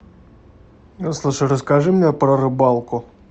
слушай расскажи мне про рыбалку